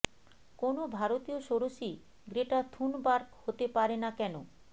কোনও ভারতীয় ষোড়শী গ্রেটা থুনবার্গ হতে পারে না কেন